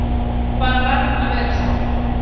Það bara varð að vera svo.